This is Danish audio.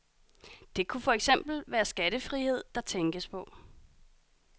Det kunne for eksempel være skattefrihed, der tænkes på.